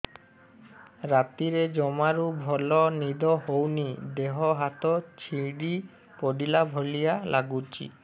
ରାତିରେ ଜମାରୁ ଭଲ ନିଦ ହଉନି ଦେହ ହାତ ଛିଡି ପଡିଲା ଭଳିଆ ଲାଗୁଚି